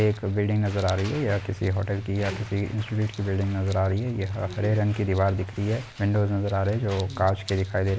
एक बिल्डिंग नजर आ रही है यह किसी होटल की या किसी इंस्टिट्यूट की बिल्डिंग नजर आ रही है यह हरे रंग की दीवार दिखती है विंडोज नजर आ रहे है जो कांच के दिखाई दे --